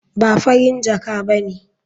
Ba Farin jaka ba ne.